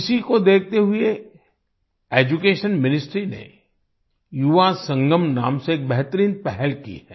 इसी को देखते हुए एड्यूकेशन मिनिस्ट्री ने युवासंगम नाम से एक बेहतरीन पहल की है